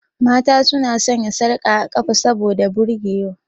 Mata su na sanya sarka a ƙafa saboda burge wa.